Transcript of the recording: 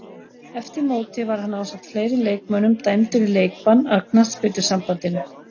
Eftir mótið var hann ásamt fleiri leikmönnum dæmdur í leikbann af knattspyrnusambandinu.